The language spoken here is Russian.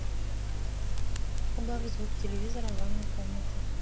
убавь звук телевизора в ванной комнате